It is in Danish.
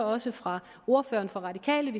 også fra ordføreren for